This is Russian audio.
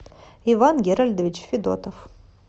иван герольдович федотов